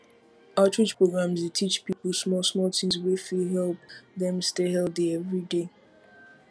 outreach programs dey teach people smallsmall things wey fit help dem stay healthy every day